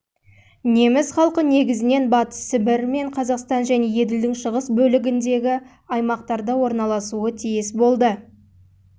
неміс халқы негізінен батыс сібір мен қазақстан және еділдің шығыс бөлігіндегі аймақтарда орналасуы тиіс болды